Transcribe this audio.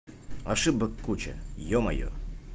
ошибок куча ё-моё